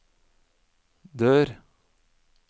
dør